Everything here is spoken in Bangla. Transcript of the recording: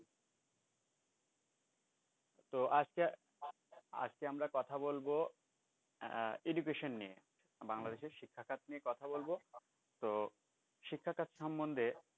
তো আজকে আমরা কথা বলবো আহ education নিয়ে বাংলাদেশের শিক্ষাখাত নিয়ে কথা বলব তো শিক্ষাখাত সমন্ধে